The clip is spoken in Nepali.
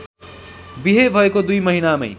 बिहे भएको दुई महिनामै